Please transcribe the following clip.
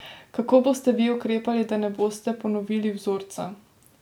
Kako boste vi ukrepali, da ne boste ponovili vzorca?